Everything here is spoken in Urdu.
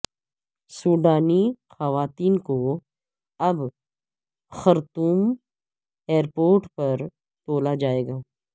سوڈانی خواتین کو اب خرطوم ایئرپورٹ پر تولا جائے گا